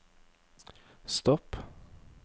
stopp